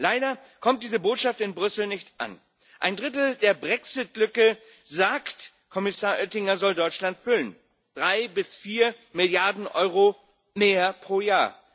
Leider kommt diese Botschaft in Brüssel nicht an. Ein Drittel der Brexit Lücke, sagt Kommissar Oettinger, soll Deutschland füllen drei bis vier Milliarden Euro mehr pro Jahr.